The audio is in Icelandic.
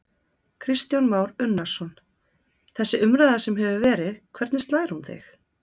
Kristján Már Unnarsson: Þessi umræða sem hefur verið, hvernig slær hún þig?